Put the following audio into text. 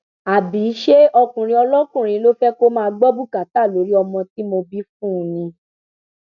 àbí ṣé ọkùnrin olókùnrin ló fẹ kó máa gbọ bùkátà lórí ọmọ tí mo bí fún un ni